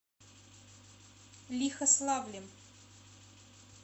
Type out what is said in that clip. лихославлем